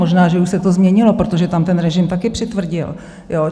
Možná, že už se to změnilo, protože tam ten režim taky přitvrdil.